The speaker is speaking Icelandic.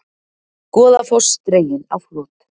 Goðafoss dreginn á flot